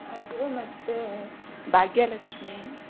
ಅದು ಮತ್ತೆ ಭಾಗ್ಯಲಕ್ಷ್ಮಿ.